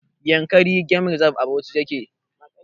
Yankari game reserve' a Bauchi yake